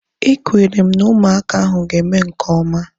Ekwere m na ụmụaka ahu ga-eme nke oma